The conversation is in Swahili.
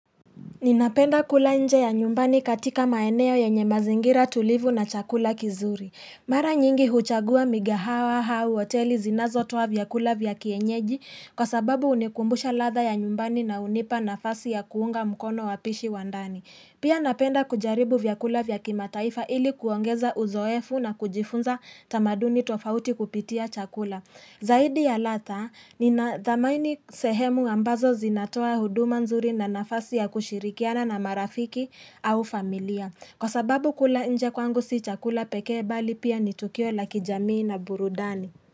Ninapenda kula nje ya nyumbani katika maeneo yanye mazingira tulivu na chakula kizuri Mara nyingi huchagua migahawa au hoteli zinazo toa vyakula vya kienyeji kwa sababu hunikumbusha ladha ya nyumbani na hunipa nafasi ya kuunga mkono wapishi wa ndani Pia napenda kujaribu vyakula vya kimataifa ili kuongeza uzoefu na kujifunza tamaduni tofauti kupitia chakula Zaidi ya ladha ninadhamaini sehemu ambazo zinatoa huduma nzuri na nafasi ya kushirikiana na marafiki au familia Kwa sababu kula nje kwangu si chakula pekee bali pia ni tukio la kijamii na burudani.